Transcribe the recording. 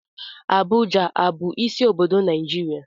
Abuja a bụ isi obodo Naịjirịa?